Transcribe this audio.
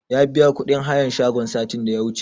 Ya biya kuɗin hayan shagon satin da ya wuce